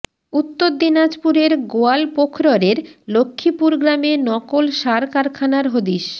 উত্তর দিনাজপুরের গোয়ালপোখরের লক্ষ্মীপুর গ্রামে নকল সার কারখানার হদিশ